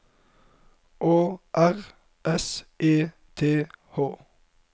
Å R S E T H